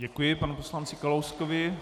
Děkuji panu poslanci Kalouskovi.